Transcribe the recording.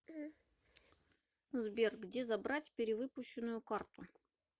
сбер где забрать перевыпущенную карту